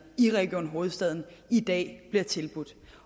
i region hovedstaden i dag bliver tilbudt